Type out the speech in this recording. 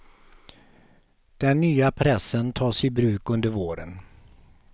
Den nya pressen tas i bruk under våren.